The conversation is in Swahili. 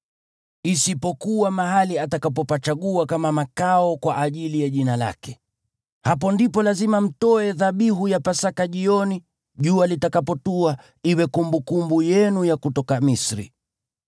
isipokuwa mahali atakapopachagua kama makao kwa ajili ya Jina lake. Hapo ndipo lazima mtoe dhabihu ya Pasaka jioni, jua litakapotua, iwe kumbukumbu yenu ya kutoka Misri.